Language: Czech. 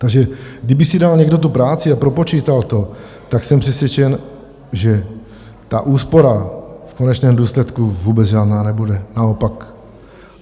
Takže kdyby si dal někdo tu práci a propočítal to, tak jsem přesvědčen, že ta úspora v konečném důsledku vůbec žádná nebude, naopak.